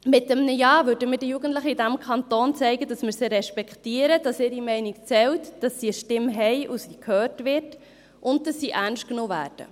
Mit einem Ja würden wir den Jugendlichen in diesem Kanton zeigen, dass wir sie respektieren, dass ihre Meinung zählt, dass sie eine Stimme haben, dass diese gehört wird und dass sie ernst genommen werden.